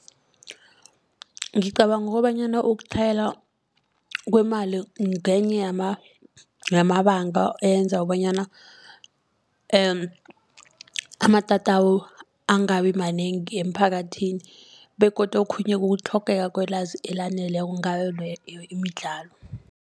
Ngicabanga kobanyana ukutlhayela kwemali ngenye yamabanga enza kobanyana amatatawu angabimanengi emphakathini begodu okhunye kutlhogeka kwelwazi elaneleko ngayo leyo imidlalo